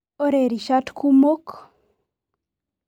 Ore rishat kumok.